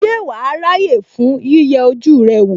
Ṣé wàá ráyè fún yíyẹ ojú rẹ wò?